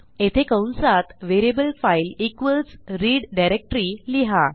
येथे कंसात variable file equals read directory लिहा